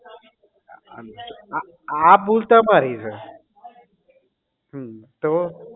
આ આ ભૂલ તમારી છે હમ તો